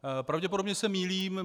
Pravděpodobně se mýlím.